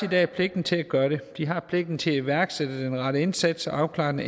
i dag pligten til at gøre det de har pligten til at iværksætte den rette indsats og afklare den